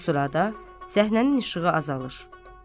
Bu sırada səhnənin işığı azalır.